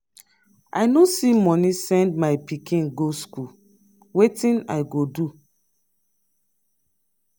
i no see money send my pikin go school. wetin i go do?